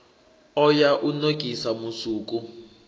o ya u nokisa musuku